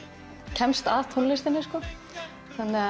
kemst að tónlistinni